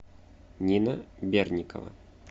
нина берникова